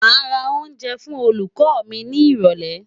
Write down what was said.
Màá ra oúnjẹ fún olùkọ́ mi ni ìrọ̀lẹ́.